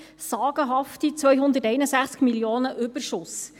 sagenhafte 261 Mio. Franken Überschuss.